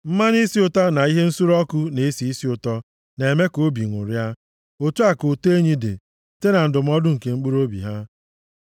Mmanụ isi ụtọ na ihe nsure ọkụ na-esi isi ụtọ na-eme ka obi ṅụrịa, otu a ka ụtọ enyi dị, site na ndụmọdụ nke mkpụrụobi ha.